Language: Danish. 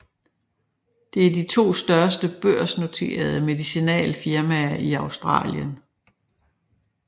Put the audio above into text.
Det er de to største børsnoterede medicinalfirmaer i Australien